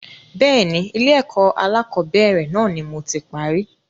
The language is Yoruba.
Bẹ́ẹ̀ni, Ilé ẹ̀kọ́ alakọ̀bẹ́ẹ́rẹ̀ náà ni moti parí.